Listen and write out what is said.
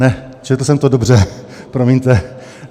Ne, četl jsem to dobře, promiňte.